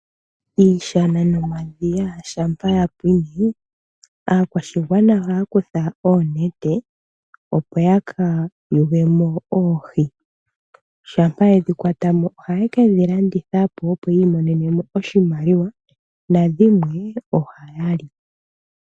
Iishana nomadhiya shampa ya pwine aakwashigwana ohaya kutha oonete, opo ya ka yule mo oohi. Shampa ye dhi kwata mo ohaye ke dhi landitha po, opo yi imonene oshimaliwa nadhimwe ohaya li.